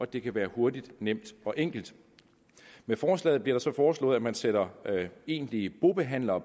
det kan være hurtigt nemt og enkelt med forslaget bliver det så foreslået at man sætter egentlige bobehandlere